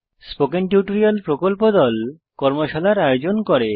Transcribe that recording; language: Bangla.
স্পোকেন টিউটোরিয়াল প্রকল্প দল কর্মশালার আয়োজন করে